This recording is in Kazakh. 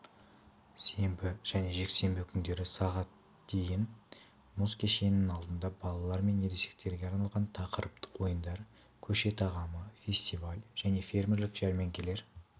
сенбі және жексенбі күндері сағат дейін мұз кешенінің алдында балалар мен ересектерге арналған тақырыптық ойындар көше тағамы фестивалі және фермерлік жәрмеңкелер